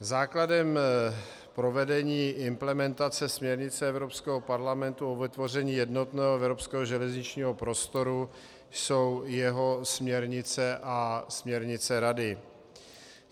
Základem provedení implementace směrnic Evropského parlamentu o vytvoření jednotného evropského železničního prostoru jsou jeho směrnice a směrnice Rady.